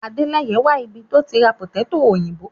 Àdéleyè ń wà ibí tí o ti rá pòtẹ̀tọ̀ oyinbó